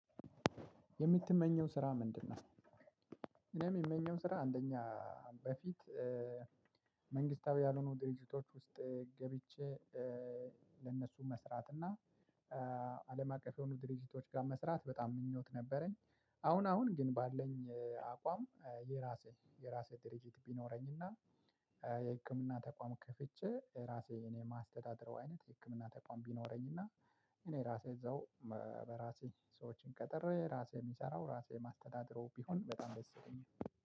የምትመኘው ስራ ምንድነው? እኔም እምመኘው ስራ አንደኛ በፊት መንግስታዊ ያልሆኑ ድርጅቶች ውስጥ ገብቼ ለነሱ መስራት እና አለም አቀፍ የሆኑት ድርጅቶች ጋ መስራት በጣም ምኞት ነበረኝ። አሁን አሁን ግን ባለን አቋም የራሴ የራሴ ድርጅት ቢኖረኝና የህክምና ተቋም ክፍቼ ራሴ እኔ እማስተዳደርው አይነት የህክምና ተቋም ቢኖረኝና እኔ ራሴ እዛው በራሴ ሰዎችን ቀጥሬ ራሴ እምሰራው ራሴ እማስተዳደረው ቢሆን በጣም ደስ ይለኛል።